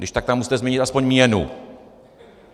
Když tak tam musíte změnit aspoň měnu.